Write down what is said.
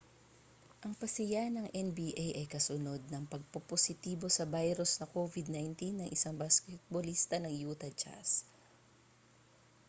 ang pasiya ng nba ay kasunod ng pagpopositibo sa virus na covid-19 ng isang basketbolista ng utah jazz